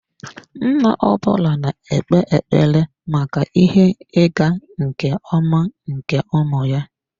Nna ọ bụla na-ekpe ekpere maka ihe ịga nke ọma nke ụmụ ya.